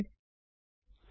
ಮೊದಲಿನಂತೆ ಕಂಪೈಲ್ ಮಾಡೋಣ